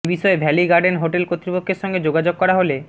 এ বিষয়ে Valley Garden hotel কর্তৃপক্ষের সঙ্গে যোগাযোগ করা হলে